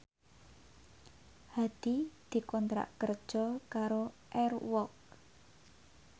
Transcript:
Hadi dikontrak kerja karo Air Walk